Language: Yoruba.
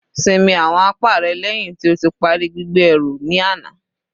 Sinmi awọn apá rẹ lẹhin ti o ti pari gbigbe eru ni ana